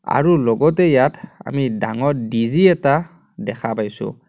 আৰু লগতে ইয়াত আমি ডাঙৰ ডি_জি এটা দেখা পাইছোঁ.